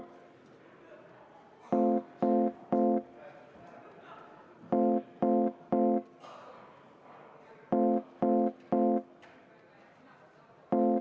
Ma võtan peaministriga ühendust.